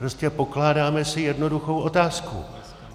Prostě pokládáme si jednoduchou otázku.